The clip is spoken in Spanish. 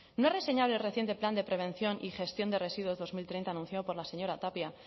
no es reseñable el reciente plan de prevención y gestión de residuos dos mil treinta anunciado por la señora tapia